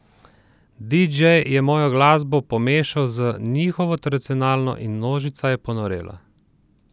Didžej je mojo glasbo pomešal z njihovo tradicionalno in množica je ponorela!